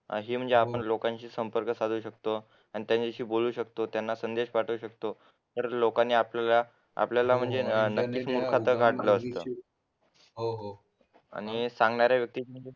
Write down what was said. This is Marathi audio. अशी म्हणजे आपण लोकांशी संपर्क साधू शकतो आणि त्यांच्याशी बोलू शकतो त्यांना संदेश पाठवू शकतो खरंच लोकांनी आपल्याला आपल्याला म्हणजे आणि सांगणाऱ्या व्यक्ती